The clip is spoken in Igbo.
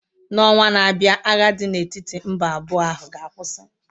N'ọnwa na-abịa agha dị n'etiti mba abụọ ahụ ga-akwụsị.